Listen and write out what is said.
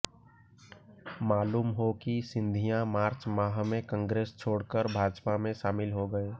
मालूम हो कि सिंधिया मार्च माह में कांग्रेस छोड़कर भाजपा में शामिल हो गये